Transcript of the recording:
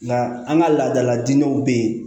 Nka an ka laadaladinɛw bɛ yen